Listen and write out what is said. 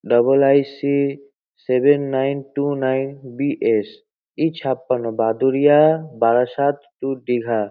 Double I .C. Seven nine two nine B .S. E ছাপাণ্ণ Baduria Barasat to Digha.